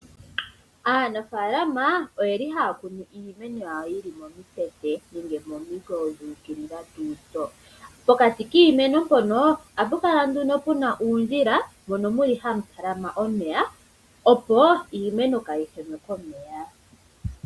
Aanafaalama oyeli haya kunu iimeno yawo yili momikweyo dhuukilila . Pokati kiimeno mpono ohapu kala nduno puna uundjila mono muli hamutalama omeya opo iimeno kaayihenwe komeya.